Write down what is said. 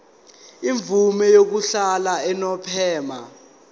imvume yokuhlala unomphema